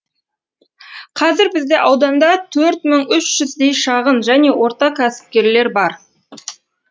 қазір бізде ауданда төрт мың үш жүздей шағын және орта кәсіпкерлер бар